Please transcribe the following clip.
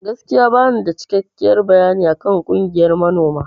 Gaskiya banida cikekken bayani akan ƙungiyan manoma.